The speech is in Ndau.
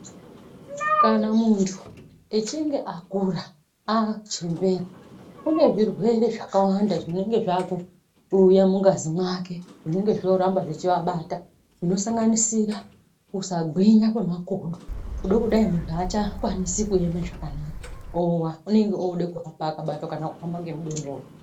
Kana muntu achinge akura achembera kune zvirwere zvakawanda zvinenge zvakuuya mungazi mwake zvinenge zvoramba zvechiabata zvinosanganisira kusagwinya kwemakodo kuda kudaii munhu achakwanisi kuema zvakanaka owa unenga oda kuhamba akabatwa kana kuhamba ngemudondoro.